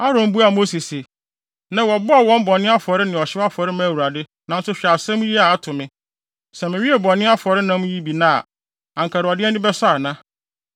Aaron buaa Mose se, “Nnɛ wɔbɔɔ wɔn bɔne afɔre ne ɔhyew afɔre maa Awurade. Nanso hwɛ asɛm yi a ato me. Sɛ mewee bɔne afɔre nam yi bi nnɛ a, anka Awurade ani bɛsɔ ana?”